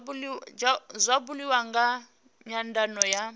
zwa buliwa nga nyandano ya